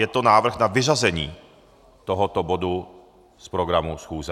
Je to návrh na vyřazení tohoto bodu z programu schůze.